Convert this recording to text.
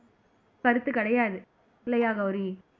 கருத்து கிடையாது இல்லையா கௌரி